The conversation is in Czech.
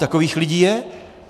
Takových lidí je!